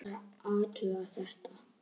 Láta athuga þetta.